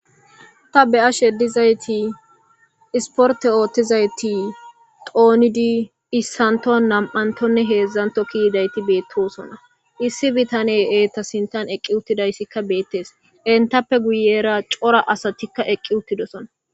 Ta be'ashe edizayti isporte oothtizayti qoonidi issanto nam'antonne heedzdzanto kiidayti beettosona issi bitane eeta sintan eqqi uttidayssikka beettees entappe guyera cora asatikka eqqi uttidosona.